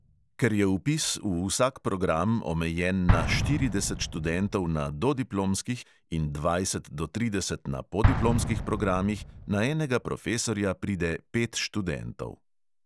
Ker je vpis v vsak program omejen na štirideset študentov na dodiplomskih in dvajset do trideset na podiplomskih programih, na enega profesorja pride pet študentov.